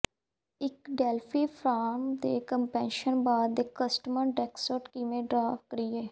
ਇੱਕ Delphi form ਦੇ caption bar ਤੇ ਕਸਟਮ ਟੈਕਸਟ ਕਿਵੇਂ ਡ੍ਰਾ ਕਰੀਏ